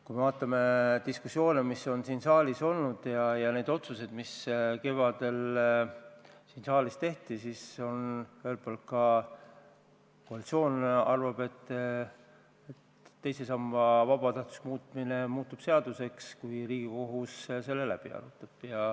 Kui vaatame diskussioone, mis siin saalis on peetud, ja neid otsuseid, mis kevadel siin saalis tehti, siis ühelt poolt arvab ka koalitsioon, et teise samba vabatahtlikuks muutmine muutub seaduseks, kui Riigikohus selle läbi arutab.